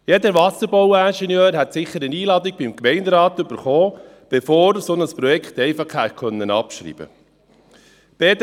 Jeder Wasserbauingenieur hätte sicher eine Einladung vom Gemeinderat erhalten, bevor er ein solches Projekt einfach hätte abschreiben können.